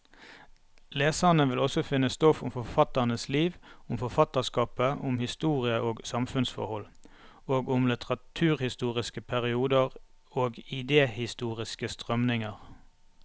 Leserne vil også finne stoff om forfatternes liv, om forfatterskapet, om historie og samfunnsforhold, og om litteraturhistoriske perioder og idehistoriske strømninger.